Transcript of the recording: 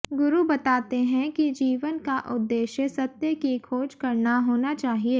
गुरु बताते हैं कि जीवन का उद्देश्य सत्य की खोज करना होना चाहिए